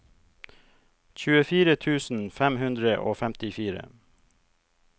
tjuefire tusen fem hundre og femtifire